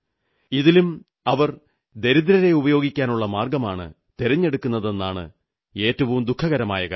ഇതിലും അവർ ദരിദ്രരെ ഉപയോഗിക്കാനുള്ള മാർഗ്ഗമാണ് തെരഞ്ഞെടുക്കുന്നതെന്നതാണ് ഏറ്റവും ദുഃഖകരമായ കാര്യം